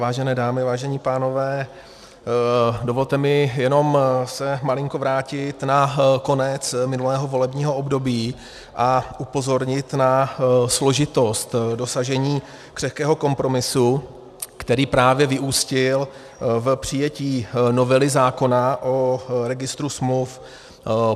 Vážené dámy, vážení pánové, dovolte mi jenom se malinko vrátit na konec minulého volebního období a upozornit na složitost dosažení křehkého kompromisu, který právě vyústil v přijetí novely zákona o registru smluv.